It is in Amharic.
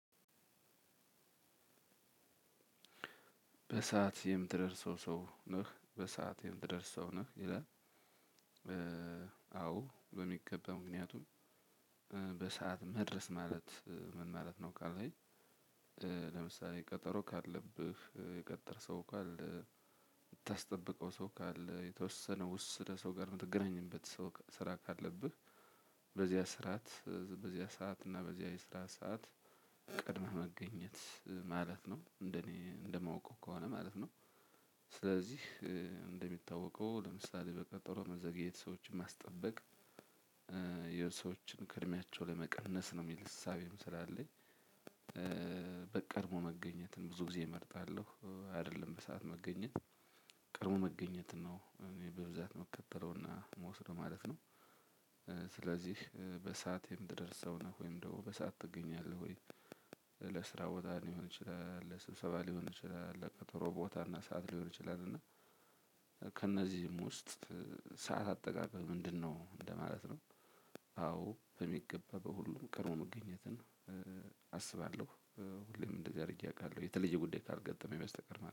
በሰአት የምትደርሰው ሰው ነህ በሰአት የምትደርሰው ነህ ይላል። አዎ በሚገባ ምክንያቱም በሰአት መድረስ ማለት ምን ማለት ነው? ካልህኝ። ለምሳሌ ቀጠሮ ካለብህ የቀጠረህ ሰው ካለ የምታስጠብቀው ሰው ካለ የተወሰነው ውስደ ሰው ጋር የምትገናኝበት ሰው ስራ ካለብህ። በዚያ ስርዓት በዚያ ሰዓት እና በዚያ የስራ ሰዓት ቀድመህ መገኘት ማለት ነው እንደኔ እንደማውቀው ከሆነ ማለት ነው። ስለዚህ እንደሚታወቀው ለምሳሌ በቀጠሮ መዘግየት ሰዎችን ማስጠበቅ የሰዎችን ከእድሜያቸው ላይ መቀነስ ነው የሚል እሳቤም ስላለኝ። በቀድሞ መገኘትን ብዙ ጊዜ እመርጣለሁ አይደለም በሰአት መገኘት። ቀድሞ መገኘት ነው እኔ በብዛት የምከተለውና የምወስደው ማለት ነው። ስለዚህ በሰአት የምትደርስነህ ወይም በሰአት ትገኛለህ ወይ? ለስራ ቦታ ሊሆን ይችላል ለስብሰባ ሊሆን ይችላል ለቀጠሮ ቦታ እና ሰዓት ሊሆን ይችላል። ከእነዚህም ውስጥ ሰዓት አጠቃቀም ምንድነው? እንደማለት ነው። አዎ በሚገባ በሁሉም ቀድሞ መገኘትን አስባለሁ። ሁሌም እንደዚህ አድርጌ አውቃለሁ የተለየ ጉዳይ ካልገጠመኝ በስተቀር